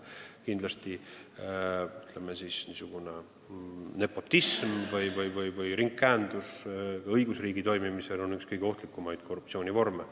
Kindlasti on niisugune nepotism või ringkäendus õigusriigi toimimise seisukohast üks kõige ohtlikumaid korruptsiooni vorme.